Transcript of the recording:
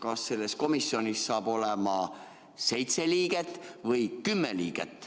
Kas selles komisjonis hakkab olema seitse liiget või kümme liiget?